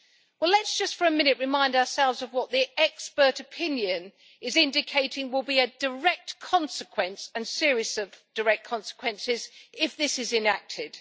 Well, let us just for a minute remind ourselves of what the expert opinion is indicating will be a direct consequence, and series of direct consequences, if this is enacted.